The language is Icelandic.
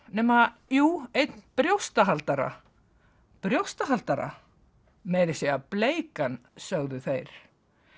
nema jú einn brjóstahaldara brjóstahaldara meira að segja bleikan sögðu þeir